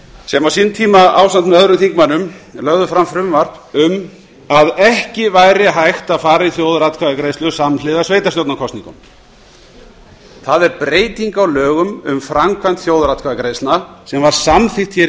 sem á sínum tíma ásamt með öðrum þingmönnum lögðu fram frumvarp um að ekki væri hægt að fara í þjóðaratkvæðagreiðslu samhliða sveitarstjórnarkosningunum það er beryeting á lögum um framkvæmd þjóðaratkvæðagreiðslna sem var samþykkt hér í